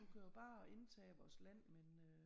Du kan jo bare indtage vores land men øh